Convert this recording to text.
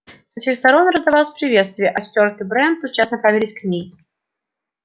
со всех сторон раздались приветствия а стюарт и брент тотчас направились к ней